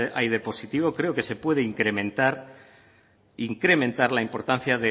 hay de positivo creo que se puede incrementar la importancia